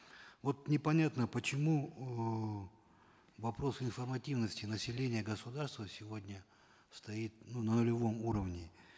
вот непонятно почему э вопрос информативности населения государства сегодня стоит ну на уровне